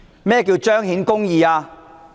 何謂彰顯公義？